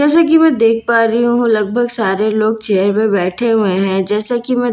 जैसा कि मैं देख पा रही हूं लगभग सारे लोग चेयर पर बैठे हुए हैं जैसा कि मैं देख --